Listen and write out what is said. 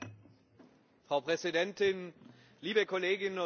Frau Präsidentin, liebe Kolleginnen und Kollegen!